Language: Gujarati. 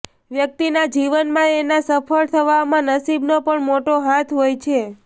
વ્યક્તિના જીવનમાં એના સફળ થવામાં નસીબનો પણ મોટો હાથ હોય છે